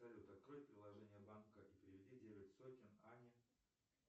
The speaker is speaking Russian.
салют открой приложение банка и переведи девять сотен ане